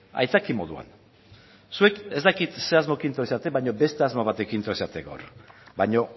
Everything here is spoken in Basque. aitzaki moduan zuek ez dakit ze asmorekin etorri zeraten baina beste asmo batekin etorri zarete gaur baino